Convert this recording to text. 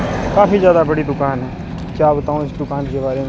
काफी ज्यादा बड़ी दुकान है क्या बताऊं इस दुकान के बारे में --